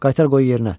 Qaytar qoy yerinə.